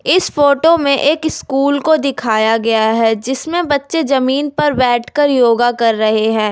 इस फोटो में एक स्कूल को दिखाया गया है जिसमें बच्चे जमीन पर बैठकर योगा कर रहे हैं।